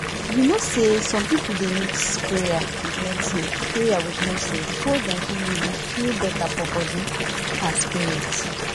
you no say some people dey mix prayer with medicine prayer with medicine before dem fit really feel better for body and spirit